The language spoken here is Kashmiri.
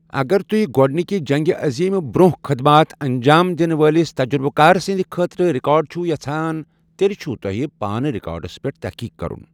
اگر تُہۍ گۅڈنکہ جنٛگہ عظیم برۅنٛہہ خدمات انجام دنہٕ وٲلس تجربہٕ کار سٕنٛدِ خٲطرٕ رِکارڈ چھوٕ یژھان تیٚلہِ چھوٕ تۅہہِ پانہٕ ریکارڈس پٮ۪ٹھ تحقیق کرُن۔